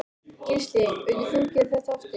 Gísli: Myndir þú gera þetta aftur?